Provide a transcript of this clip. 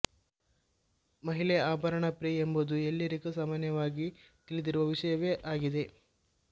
ಮಹಿಳೆ ಆಭರಣ ಪ್ರಿಯೆ ಎಂಬುದು ಎಲ್ಲಿರಿಗೂ ಸಾಮಾನ್ಯವಾಗಿ ತಿಳಿದಿರುವ ವಿಷಯವೇ ಅಗಿದೆ